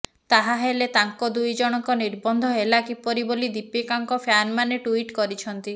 ତାହାହେଲେ ତାଙ୍କ ଦୁଇ ଜଣଙ୍କ ନିର୍ବନ୍ଧ ହେଲା କିପରି ବୋଲି ଦୀପିକାଙ୍କ ଫ୍ୟାନମାନେ ଟ୍ୱିଟ୍ କରିଛନ୍ତି